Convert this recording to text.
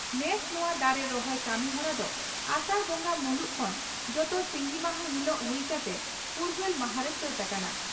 ᱱᱮᱥ ᱱᱚᱣᱟ ᱫᱟᱨᱮ ᱨᱚᱦᱚᱭ ᱠᱟᱹᱢᱤᱦᱚᱨᱟ ᱫᱚ ᱟᱥᱟᱲ ᱵᱚᱸᱜᱟ ᱢᱩᱞᱩᱜ ᱠᱷᱚᱱ ᱡᱚᱛᱚ ᱥᱤᱸᱜᱤ ᱢᱟᱦᱟ ᱦᱤᱞᱚᱜ ᱦᱩᱭ ᱠᱟᱛᱮ ᱯᱷᱩᱨᱜᱟᱹᱞ ᱢᱟᱦᱟᱸᱨᱮ ᱥᱟᱹᱛ ᱟᱠᱟᱱᱟ ᱾